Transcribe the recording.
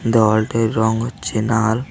দেওয়ালটির রং হচ্ছে নাল ।